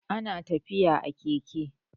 ana tafiya a Keke